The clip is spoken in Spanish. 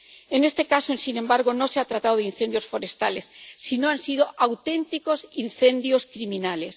En este caso, sin embargo, no se ha tratado de incendios forestales, sino que han sido auténticos incendios criminales.